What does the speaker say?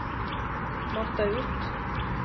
mata ut